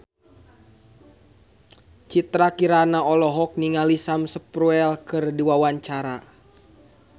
Citra Kirana olohok ningali Sam Spruell keur diwawancara